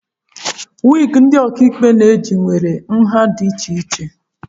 Wịgị ndị ọkàikpe na-eji nwere nha dị iche iche